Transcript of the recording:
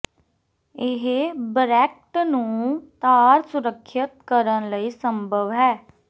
ਇਹ ਬਰੈਕਟ ਨੂੰ ਤਾਰ ਸੁਰੱਖਿਅਤ ਕਰਨ ਲਈ ਸੰਭਵ ਹੈ